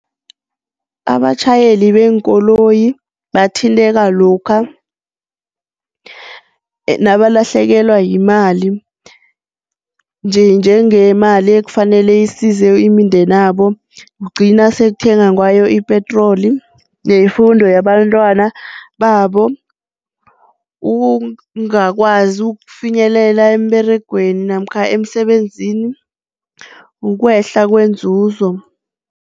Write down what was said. Abatjhayeli beenkoloyi bathinteka lokha nabalahlekelwa yimali njenjengemali ekufanele isize imindenabo, kugcina sekuthengwa ngayo ipetroli, neyefundo yabantwanababo, ungakwazi ukufinyelela emberegweni namkha emsebenzini, ukwehla kwenzuzo.